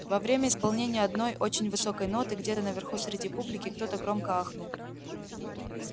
во время исполнения одной очень высокой ноты где-то наверху среди публики кто-то громко ахнул